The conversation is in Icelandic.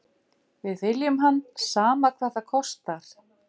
Við viljum hann, sama hvað það kostar.